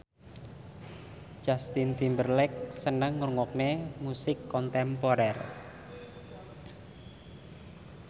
Justin Timberlake seneng ngrungokne musik kontemporer